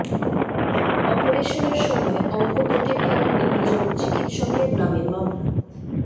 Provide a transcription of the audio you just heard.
অপারেশনের সময় অঙ্গ কেটে ফেলার অভিযোগে চিকিৎসকের নামে মামলা